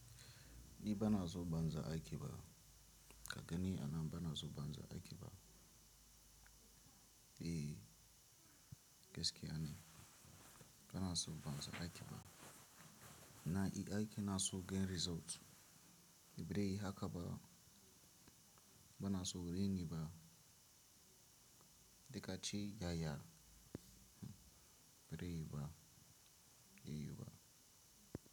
Ni bana so banza aiki ba. Ka gani a nan bana so banza aiki ba. Eh, gaskiya ne. Bana so banza aiki ba. Na yi aiki na so gan result. Da birayi haka ba. Bana so raini ba. Da kaci ya ya. Baraiyi ba, yi ba.